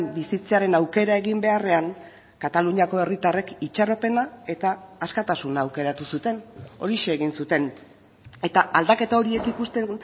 bizitzearen aukera egin beharrean kataluniako herritarrek itxaropena eta askatasuna aukeratu zuten horixe egin zuten eta aldaketa horiek ikusten